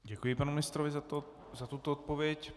Děkuji panu ministrovi za tuto odpověď.